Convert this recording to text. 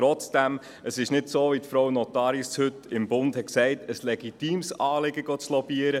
Trotzdem, es ist nicht, wie Regierungsstatthalterin Ariane Nottaris heute im «Bund» gesagt hat, ein legitimes Anliegen, zu lobbyieren.